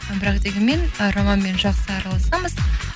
і бірақ дегенмен ы романмен жақсы араласамыз